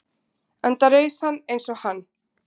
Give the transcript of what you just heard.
enda reis hann eins og hann